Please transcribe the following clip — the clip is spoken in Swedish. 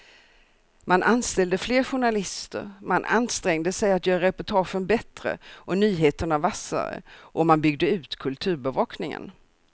Man anställde fler journalister, man ansträngde sig att göra reportagen bättre och nyheterna vassare och man byggde ut kulturbevakningen.